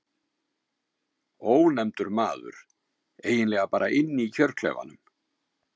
Ónefndur maður: Eiginlega bara inni í kjörklefanum?